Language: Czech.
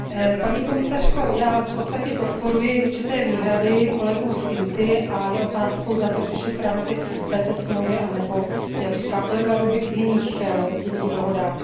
Paní komisařko, já v podstatě podporuji určité výhrady kolegů z výboru INTA a je otázkou, zda to řešit v rámci této dohody anebo, jak říká kolega Rübig, v jiných dohodách.